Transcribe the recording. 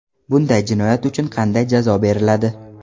Bunday jinoyat uchun qanday jazo beriladi?